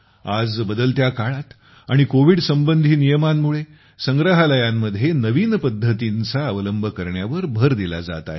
आज बदलत्या काळात आणि कोविड संबंधी नियमांमुळे संग्रहालयांमध्ये नवीन पद्धतींचा अवलंब करण्यावर भर दिला जात आहे